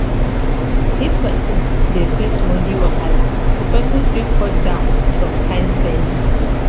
if person dey face money wahala di person fit cut down some kind spending